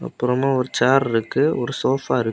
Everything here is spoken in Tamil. பொறவு ஒரு சேர் இருக்கு ஒரு சோஃபா இருக்கு.